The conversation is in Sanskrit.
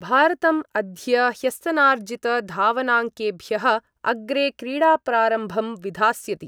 भारतम् अद्य ह्यस्तनार्जितधावनाङ्केभ्यः अग्रे क्रीडाप्रारम्भं विधास्यति।